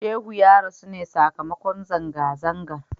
Shehu ya rasu ne sakamakon zanga-zangar.